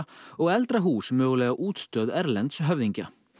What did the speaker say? og eldra hús mögulega útstöð erlends höfðingja